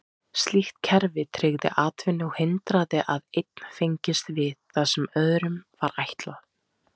Slíkt kerfi tryggði atvinnu og hindraði að einn fengist við það sem öðrum var ætlað.